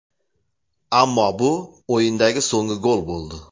Ammo bu o‘yindagi so‘nggi gol bo‘ldi.